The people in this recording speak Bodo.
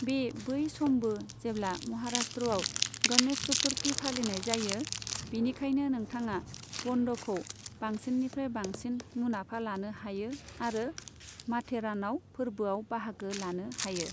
बे बै समबो जेब्ला महाराष्ट्रआव गणेश चतुर्थी फालिनाय जायो, बिनिखायनो नोंथाङा बन्द'खौ बांसिननिफ्राय बांसिन मुनाफा लानो हायो आरो माथेरानआव फोरबोआव बाहागो लानो हायो।